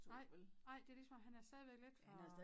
Nej nej det lige som som han er stadigvæk lidt for